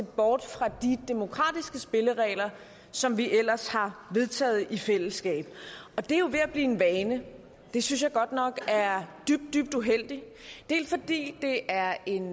bort fra de demokratiske spilleregler som vi ellers har vedtaget i fællesskab og det er jo ved at blive en vane det synes jeg godt nok er dybt dybt uheldigt dels fordi det er en